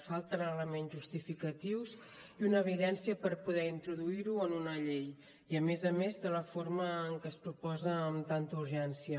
falten elements justificatius i una evidència per poder introduir ho en una llei i a més a més de la forma en què es proposa amb tanta urgència